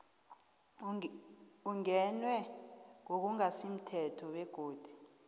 ingenwe ngokungasimthetho begodu